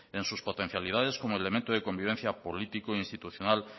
en sus potencialidades como elemento de convivencia político e institucional